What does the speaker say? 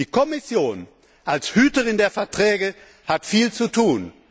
Die Kommission als Hüterin der Verträge hat viel zu tun.